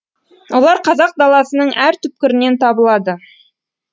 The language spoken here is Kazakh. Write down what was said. олар қазақ даласының әр түпкірінен табылады